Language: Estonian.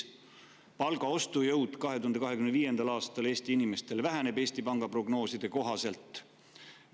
Palga ostujõud 2025. aastal Eesti inimestele väheneb Eesti Panga prognooside kohaselt.